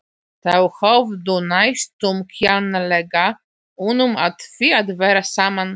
Þau höfðu næstum kjánalega unun af því að vera saman.